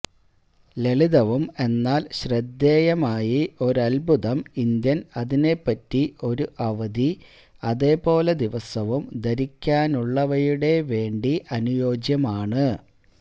ലളിതവും എന്നാൽ ശ്രദ്ധേയമായി ഒരത്ഭുതം ഇന്ത്യൻ അതിനെപറ്റി ഒരു അവധി അതുപോലെ ദിവസവും ധരിക്കാനുള്ളവയുടെ വേണ്ടി അനുയോജ്യമാണ്